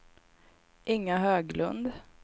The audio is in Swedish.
Inga Höglund